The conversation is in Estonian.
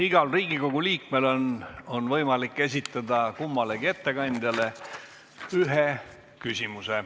Igal Riigikogu liikmel on võimalik esitada kummalegi ettekandjale üks küsimus.